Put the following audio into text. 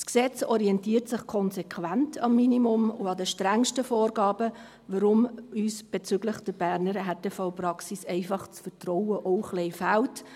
Das Gesetz orientiert sich konsequent am Minimum und an den strengsten Vorgaben, weshalb uns bezüglich der Berner Härtefallpraxis einfach das Vertrauen auch ein wenig fehlt.